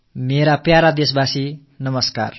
எனதருமை நாட்டு மக்களே வணக்கம்